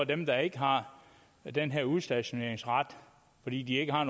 dem der ikke har den her udstationeringsret fordi de ikke har